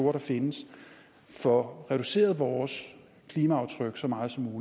der findes får reduceret vores klimaaftryk så meget som